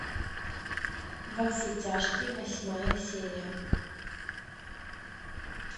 во все тяжкие восьмая серия